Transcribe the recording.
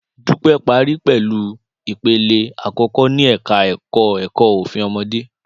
Dúpẹ́ parí pẹ̀lú ipele àkọ́kọ́ ní ẹ̀ka ẹ̀kọ́ ẹ̀kọ́ Òfin Ọmọdé